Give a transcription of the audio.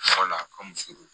Yɔrɔ la a ka muso